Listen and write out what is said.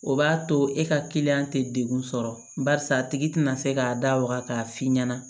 O b'a to e ka kiliyan tɛ degun sɔrɔ barisa a tigi tɛna se k'a da waga k'a f'i ɲɛna